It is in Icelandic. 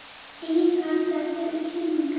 Engin hætta fyrir kylfinga